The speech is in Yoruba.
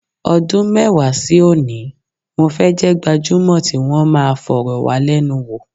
Ọdún mẹ́wàá sí òní, mo fẹ́ jẹ́ gbajúmọ̀ tí wọn máa fọ̀rọ̀wálẹ́nuwò.